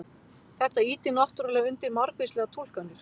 Þetta ýtir náttúrulega undir margvíslegar túlkanir.